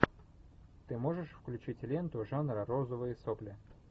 ты можешь включить ленту жанра розовые сопли